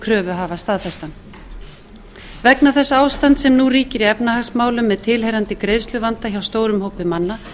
kröfuhafa staðfestan vegna þess ástands sem nú ríkir í efnahagsmálum með tilheyrandi greiðsluvanda hjá stórum hópi manna